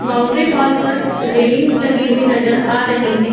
Boundary wall पर railings लगी हुई नज़र आ रही है।